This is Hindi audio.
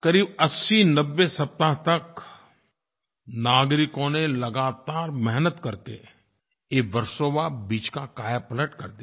करीब 8090 सप्ताह तक नागरिकों ने लगातार मेहनत करके वर्सोवा बीच का कायापलट कर दिया